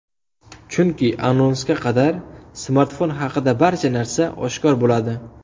Chunki anonsga qadar smartfon haqida barcha narsa oshkor bo‘ladi.